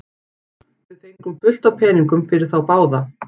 Við fengum fullt af peningum fyrir þá báða.